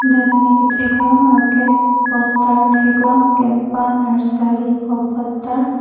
dak ne katheklong lake poster theklong campa nursery pu aposter .